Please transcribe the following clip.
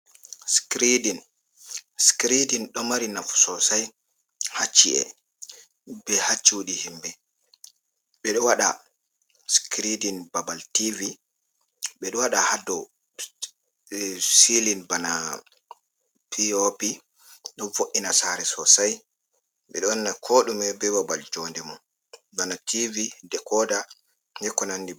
Skredin ɗo mari nafu sosai ha ci’e be ha cudi himɓe. Ɓeɗo wada skredin babal tivi bedo waɗa hadou silin bana pyopi ɗo vo’ina sare sosai, ɓe ɗo wanna ko ɗume bei babal jonde mo bana tivi dekoda bei ko nandi ba.